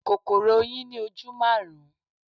Kòkòrò oyin ní ojú maarun.